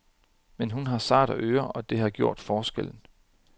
Men hun har sarte ører, og det har gjort forskellen.